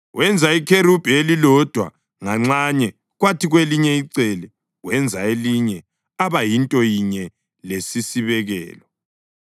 Wenza ikherubhi elilodwa nganxanye kwathi kwelinye icele wenza elinye aba yinto yinye lesisibekelo.